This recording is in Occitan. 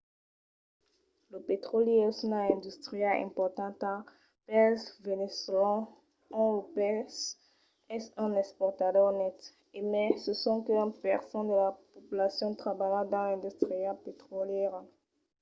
lo petròli es una industria importanta pels veneçolans ont lo país es un exportador net e mai se sonque un per cent de la populacion trabalha dins l’industria petrolièra